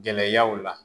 Gɛlɛyaw la